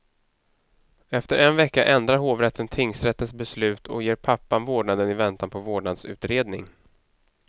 Efter en vecka ändrar hovrätten tingsrättens beslut och ger pappan vårdnaden i väntan på vårdnadsutredning.